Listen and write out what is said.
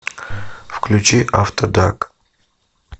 включи афтер дарк